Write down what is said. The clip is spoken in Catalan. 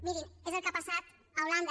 mirin és el que ha passat a holanda